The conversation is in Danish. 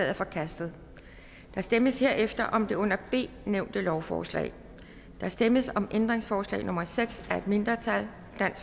er forkastet der stemmes herefter om det under b nævnte lovforslag der stemmes om ændringsforslag nummer seks af et mindretal